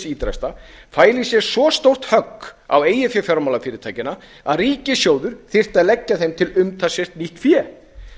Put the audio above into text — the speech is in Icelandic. ýtrasta fæli í sér svo stórt högg á eigin fé fjármálafyrirtækjanna að ríkissjóður þyrfti að leggja þeim til umtalsvert nýtt fé